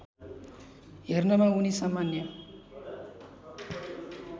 हेर्नमा उनी सामान्य